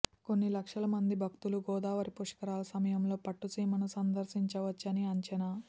కొన్ని లక్షల మంది భక్తులు గోదావరి పుష్కరాల సమయంలో పట్టుసీమ ను సందర్శించవచ్చని అంచనా